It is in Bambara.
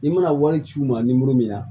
I mana wari ci u ma nimoro min na